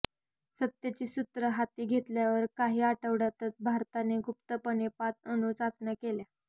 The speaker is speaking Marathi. सत्तेची सूत्र हाती घेतल्यावर काही आठवड्यांतच भारताने गुप्तपणे पाच अणू चाचण्या केल्या